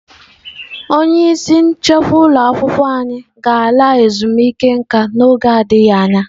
Onye isi nchekwa ụlọ akwụkwọ anyị ga-ala ezumike nka n'oge adịghị anya.